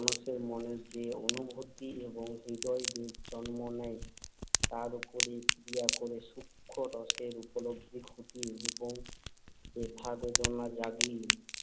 মানুষের মনে যে অনুভূতি এবং হৃদয়াবেগ জন্ম নেয়, তার উপরে ক্রিয়া করে সূক্ষ্ম রসের উপলব্ধি ঘটিয়ে এবং ব্যথা-বেদনা জাগিয়ে